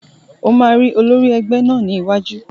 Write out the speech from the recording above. Mo máa rí olórí ẹgbẹ́ náà ní iwájú